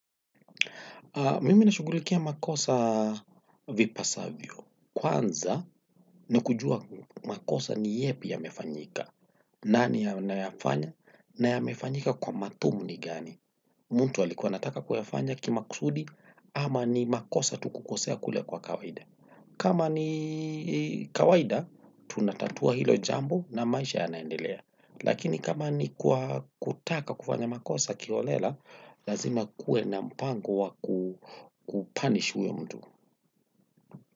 Mimi na shugulikia makosa vipasavyo. Kwanza ni kujua makosa ni yepi yamefanyika. Nani anayafanya? Na ya mefanyika kwa matumuni gani? Mtu alikua anataka kuyafanya kimakusudi ama ni makosa tukukosea kule kwa kawaida. Kama ni kawaida, tunatatua hilo jambo na maisha ya naendelea. Lakini kama ni kwa kutaka kufanya makosa kiolela, lazima kue na mpango wa kupanish huyo mtu.